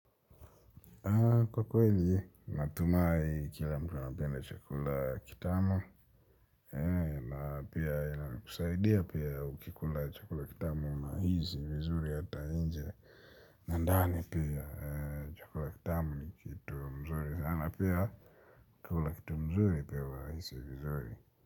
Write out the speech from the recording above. Kwa kweli, natumai kila mtu anapenda chukula kitamu. Na pia, yana kusaidia pia ukikula chukula kitamu unahisi vizuri hata nje. Na ndani pia chakula kitamu ni kitu mzuri sana pia. Kukula kitu mzuri pia wahisi vizuri.